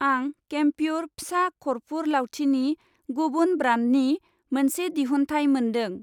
आं केमप्युर फिसा खरफुर लावथिनि गुबुन ब्रान्डनि मोनसे दिहुनथाइ मोनदों।